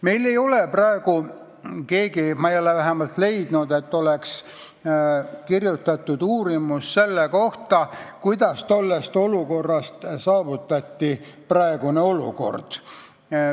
Meil ei ole keegi – ma ei ole vähemalt leidnud, et oleks – kirjutanud uurimust selle kohta, kuidas tollest olukorrast mindi praegusesse olukorda.